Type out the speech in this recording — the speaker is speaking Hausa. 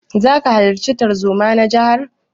Zaka halarta tarzoma na jihar?